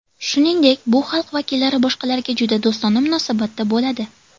Shuningdek, bu xalq vakillari boshqalarga juda do‘stona munosabatda bo‘ladi.